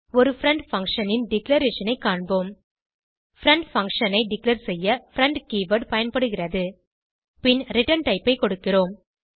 ஒரு friend function ன் declaration ஐ காண்போம் பிரெண்ட் பங்ஷன் ஐ டிக்ளேர் செய்ய பிரெண்ட் கீவர்ட் பயன்படுகிறது பின் return type ஐ கொடுக்கிறோம்